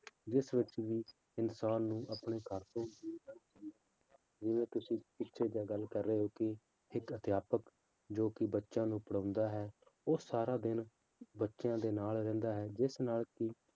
ਜਿਸ ਵਿੱਚ ਵੀ ਇਨਸਾਨ ਨੂੰ ਆਪਣੇ ਘਰ ਤੋਂ ਜਿਵੇਂ ਤੁਸੀਂ ਪਿੱਛੇ ਜਿਹੇ ਗੱਲ ਕਰ ਰਹੇ ਸੀ ਕਿ ਅਧਿਆਪਕ ਜੋ ਕਿ ਬੱਚਿਆਂ ਨੂੰ ਪੜ੍ਹਾਉਂਦਾ ਹੈ ਉਹ ਸਾਰਾ ਦਿਨ ਬੱਚਿਆਂ ਦੇ ਨਾਲ ਰਹਿੰਦਾ ਹੈ ਜਿਸ ਨਾਲ ਕਿ